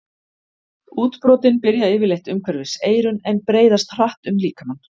Útbrotin byrja yfirleitt umhverfis eyrun en breiðast hratt um líkamann.